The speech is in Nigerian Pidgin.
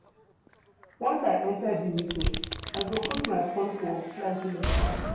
Once I enta di meeting, I go put my fone for flight mode.